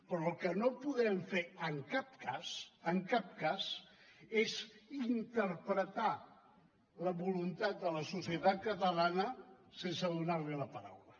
però el que no podem fer en cap cas en cap cas és interpretar la voluntat de la societat catalana sense donar li la paraula